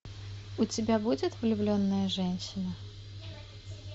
у тебя будет влюбленная женщина